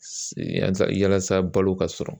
Yansa yalasa balo ka sɔrɔ